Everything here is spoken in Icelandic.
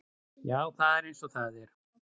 Já, það er eins og það er.